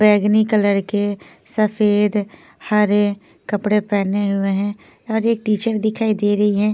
बैंगनी कलर के सफेद हरे कपड़े पहने हुए है और एक टीचर दिखाई दे रही हैं।